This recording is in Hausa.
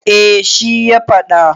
eh shi ya faɗa